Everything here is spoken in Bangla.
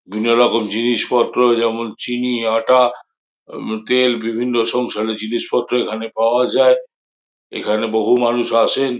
বিভিন্ন রকম জিনিসপত্র যেমন চিনি আটা উম তেল বিভিন্ন সংসারের জিনিসপত্র এখানে পাওয়া যায় এখানে বহু মানুষ আসেন।